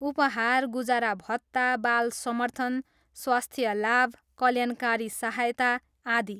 उपहार, गुजारा भत्ता, बाल समर्थन, स्वास्थ्य लाभ, कल्याणकारी सहायता, आदि।